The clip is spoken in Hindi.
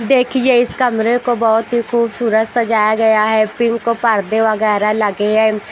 देखिए इस कमरे को बहोत ही खूबसूरत सजाया गया है पिंक को पर्दे वगैरा लगे है।